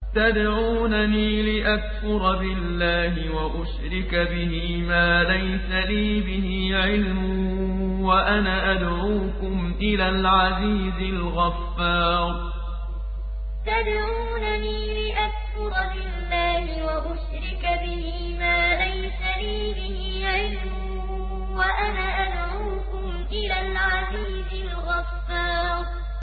تَدْعُونَنِي لِأَكْفُرَ بِاللَّهِ وَأُشْرِكَ بِهِ مَا لَيْسَ لِي بِهِ عِلْمٌ وَأَنَا أَدْعُوكُمْ إِلَى الْعَزِيزِ الْغَفَّارِ تَدْعُونَنِي لِأَكْفُرَ بِاللَّهِ وَأُشْرِكَ بِهِ مَا لَيْسَ لِي بِهِ عِلْمٌ وَأَنَا أَدْعُوكُمْ إِلَى الْعَزِيزِ الْغَفَّارِ